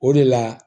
O de la